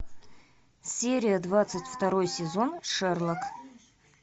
серия двадцать второй сезон шерлок